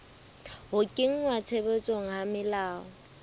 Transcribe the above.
ho kenngwa tshebetsong ha melao